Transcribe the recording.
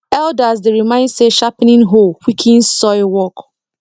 elders dey remind say sharpening hoe quickens soil work